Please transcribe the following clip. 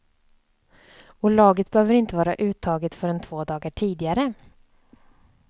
Och laget behöver inte vara uttaget förrän två dagar tidigare.